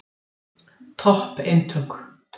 Topp eintök.